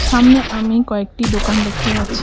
সামনে আমি কয়েকটি দোকান দেখতে পাচ্ছি।